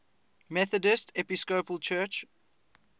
methodist episcopal church